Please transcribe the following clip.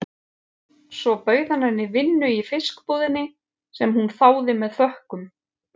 Svo hann bauð henni vinnu í fiskbúðinni, sem hún þáði með þökkum.